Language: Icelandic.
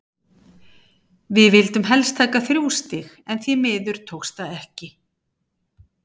Við vildum hélst taka þrjú stig en því miður tókst það ekki.